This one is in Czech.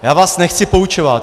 Já vás nechci poučovat.